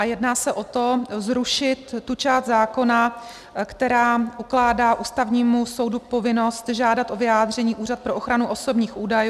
A jedná se o to, zrušit tu část zákona, která ukládá Ústavnímu soudu povinnost žádat o vyjádření Úřad pro ochranu osobních údajů.